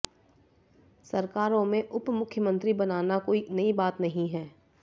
सरकारों में उपमुख्यमंत्री बनाना कोई नई बात नहीं है